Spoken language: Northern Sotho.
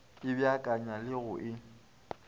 e beakanya le go e